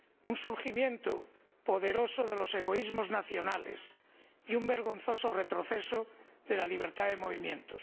un surgimiento poderoso de los egoísmos nacionales y un vergonzoso retroceso de la libertad de movimientos.